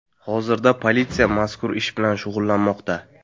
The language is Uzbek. Hozirda politsiya mazkur ish bilan shug‘ullanmoqda.